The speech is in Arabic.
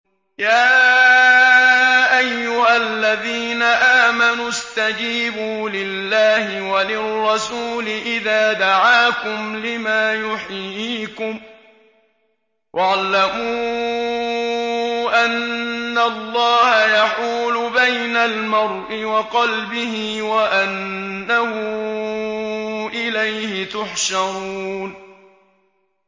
يَا أَيُّهَا الَّذِينَ آمَنُوا اسْتَجِيبُوا لِلَّهِ وَلِلرَّسُولِ إِذَا دَعَاكُمْ لِمَا يُحْيِيكُمْ ۖ وَاعْلَمُوا أَنَّ اللَّهَ يَحُولُ بَيْنَ الْمَرْءِ وَقَلْبِهِ وَأَنَّهُ إِلَيْهِ تُحْشَرُونَ